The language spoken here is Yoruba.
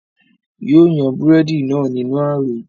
yóò yan búrẹ́dì náà nínú ààrò